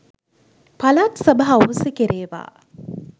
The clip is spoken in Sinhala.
පළාත් සභා අහෝසි කෙරේවා